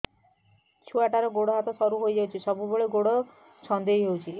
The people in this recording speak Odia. ଛୁଆଟାର ଗୋଡ଼ ହାତ ସରୁ ହୋଇଯାଇଛି ଏବଂ ସବୁବେଳେ ଗୋଡ଼ ଛଂଦେଇ ହେଉଛି